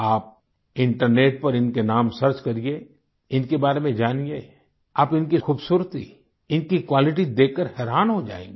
आप इंटरनेट पर इनके नाम सर्च करिए इनके बारे में जानिए आप इनकी खूबसूरती इनकी क्वालिटीज देखकर हैरान हो जाएंगे